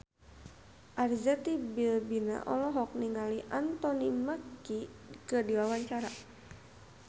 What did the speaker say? Arzetti Bilbina olohok ningali Anthony Mackie keur diwawancara